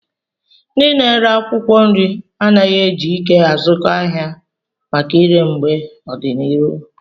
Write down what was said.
Ndị na-ere akwụkwọ nri anaghị eji ike azụkọ ahịa maka ire mgbe ọdịnihu